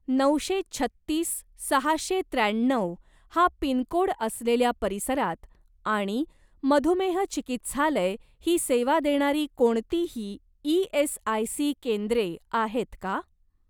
नऊशे छत्तीस सहाशे त्र्याण्णव हा पिनकोड असलेल्या परिसरात आणि मधुमेह चिकित्सालय ही सेवा देणारी कोणतीही ई.एस.आय.सी. केंद्रे आहेत का?